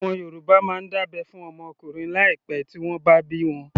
Àwọn Yorùbá máa ń dábẹ́ fún ọmọ ọkùnrin láì pẹ tí wọ́n bá bí wọn